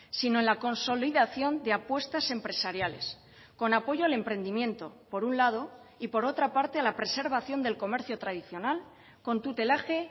sino en la consolidación de apuestas empresariales con apoyo al emprendimiento por un lado y por otra parte a la preservación del comercio tradicional con tutelaje